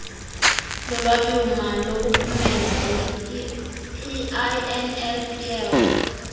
lolwabiwomali lokuphumeza inlpf